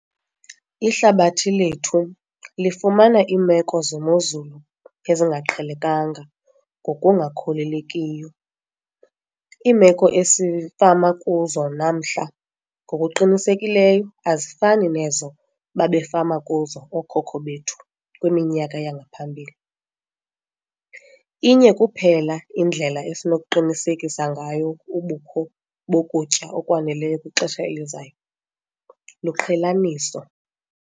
Ihlabathi lethu lifumana iimeko zemozulu ezingaqhelekanga ngokungakholelekiyo. Iimeko esifama kuzo namhla ngokuqinisekileyo azifani nezo babefama kuzo ookhokho bethu kwiminyaka yangaphambili. Inye kuphela indlela esinokuqinisekisa ngayo ubukho bokutya okwaneleyo kwixesha elizayo, luqhelaniso!